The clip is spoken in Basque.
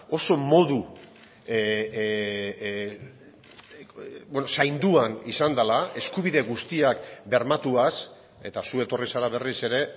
oso modu zainduan izan dela eskubide guztiak bermatuaz eta zu etorri zara berriz ere